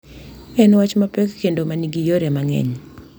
En wach mapek kendo ma nigi yore mang’eny,